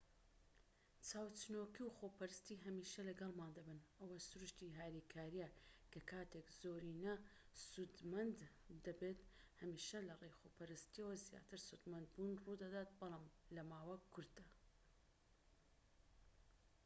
چاوچنۆکی و خۆپەرستی هەمیشە لەگەڵمان دەبن ئەوە سروشتی هاریکاریە کە کاتێك زۆرینە سودمەند دەبێت هەمیشە لەڕێی خۆپەرستیەوە زیاتر سودمەندبوون ڕوودەدات بەڵام لەماوە کورتدا